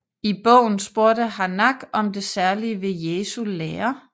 I bogen spurgte Harnack om det særlige ved Jesu lære